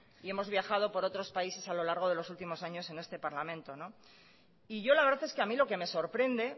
y hemos viajado por otros países a lo largo de los últimos años en este parlamento y yo la verdad es que a mí lo que me sorprende